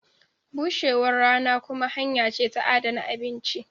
bushewar rana kuma hanya ce ta adana abinci.